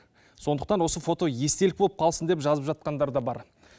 сондықтан осы фото естелік болып қалсын деп жазып жатқандар да бар